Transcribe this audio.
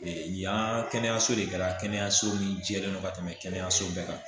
yan kɛnɛyaso de kɛra kɛnɛyaso min jɛlen don ka tɛmɛ kɛnɛyaso bɛɛ kan